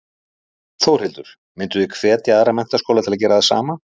Þórhildur: Mynduð þið hvetja aðra menntaskóla til að gera það sama?